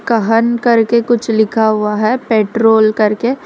कहन करके कुछ लिखा हुआ है पेट्रोल कर के।